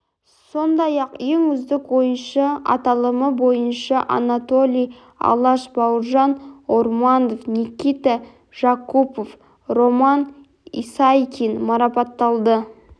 сондай-ақ ең үздік ойыншы аталымы бойынша анатолий алаш бауыржан орманов никита жакупов роман исайкин марапатталды